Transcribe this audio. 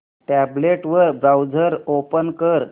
tablet वर browser open कर